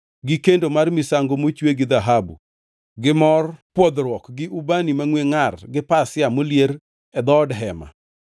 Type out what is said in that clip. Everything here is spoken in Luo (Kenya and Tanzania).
gi kendo mar misango mochwe gi dhahabu, gi mor pwodhruok, gi ubani mangʼwe ngʼar gi pasia molier e dhood hema;